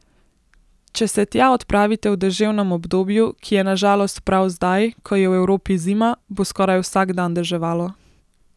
Če se tja odpravite v deževnem obdobju, ki je na žalost prav zdaj, ko je v Evropi zima, bo skoraj vsak dan deževalo.